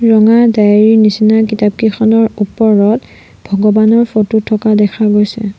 ৰঙা ডাইৰী ৰ নিচিনা কিতাপকেইখনৰ ওপৰত ভগবানৰ ফটো থকা দেখা গৈছে।